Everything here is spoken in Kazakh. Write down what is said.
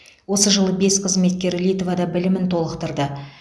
осы жылы бес қызметкер литвада білімін толықтырды